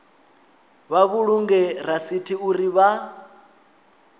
vha vhulunge rasithi uri vha